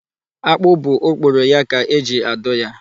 Akpụ bụ okporo ya ka eji adụ ya.